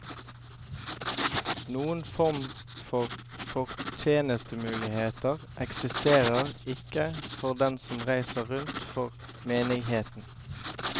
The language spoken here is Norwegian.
Noen form for fortjenestemuligheter eksisterer ikke for dem som reiser rundt for menigheten.